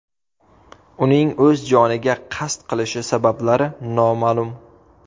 Uning o‘z joniga qasd qilishi sabablari noma’lum.